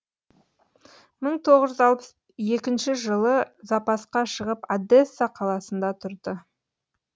мың тоғыз жүз алпыс екінші жылы запасқа шығып одесса қаласында тұрды